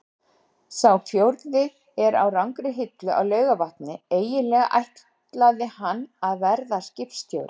Sá fjórði er á rangri hillu á Laugarvatni- eiginlega ætlaði hann að verða skipstjóri.